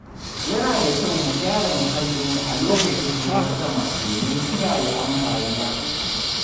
Yana da kyau mu gyara muhallinmu a lokacin ruwan sama domin kiyaye ambaliya.